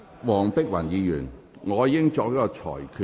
黃碧雲議員，我已經作出裁決。